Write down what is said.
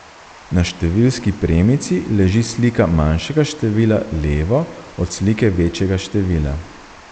Na številski premici leži slika manjšega števila levo od slike večjega števila.